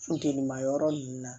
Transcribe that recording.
Funteni ma yɔrɔ nunnu na